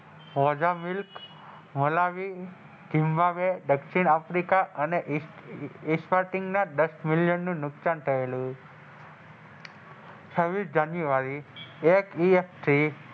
ઓજા મિલ્ક અને Malawi Zimbabwe દક્ષિણ આફ્રિકા અને ના દસ મિલિયન નું નુકસાન થયેલું છવીસ જાન્યુઆરી એક થી,